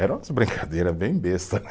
Eram umas brincadeira bem besta né.